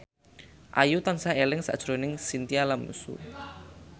Ayu tansah eling sakjroning Chintya Lamusu